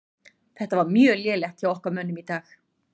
Þetta var mjög lélegt hjá okkar mönnum í dag.